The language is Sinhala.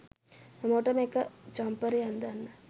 හැමෝටම එක ජම්පරේ අන්දන්න